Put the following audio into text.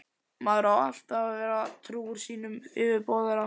Maður á alltaf að vera trúr sínum yfirboðara.